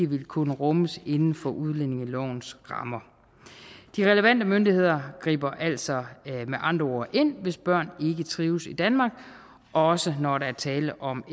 vil kunne rummes inden for udlændingelovens rammer de relevante myndigheder griber altså med andre ord ind hvis børn ikke trives i danmark også når der er tale om